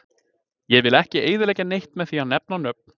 Ég vill ekki eyðileggja neitt með því að nefna nöfn.